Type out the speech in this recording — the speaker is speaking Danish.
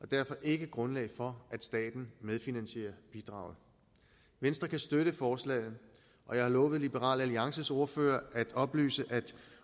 derfor ikke grundlag for at staten medfinansierer bidraget venstre kan støtte forslaget og jeg har lovet liberal alliances ordfører at oplyse at